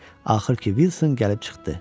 Axır ki, Uilson gəlib çıxdı.